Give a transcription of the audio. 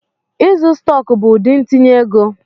Ịzụ stọk bụ ụdị ntinye ego.